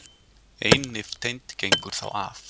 Ein nifteind gengur þá af.